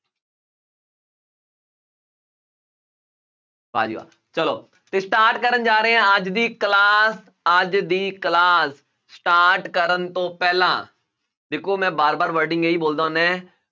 ਚਲੋ ਤੇ start ਕਰਨ ਜਾ ਰਹੇ ਹਾਂਂ ਅੱਜ ਦੀ class ਅੱਜ ਦੀ class start ਕਰਨ ਤੋਂ ਪਹਿਲਾਂ ਦੇਖੋ ਮੈਂ ਵਾਰ ਵਾਰ wording ਇਹੀ ਬੋਲਦਾ ਹੁੰਦਾ ਹੈ